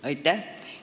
Aitäh!